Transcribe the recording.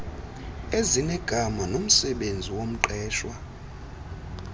ezinegama nomsebenzi womqeshwa